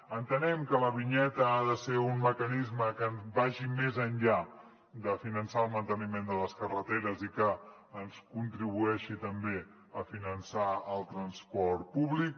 entenem que la vinyeta ha de ser un mecanisme que vagi més enllà de finançar el manteniment de les carreteres i que ens contribueixi també a finançar el transport públic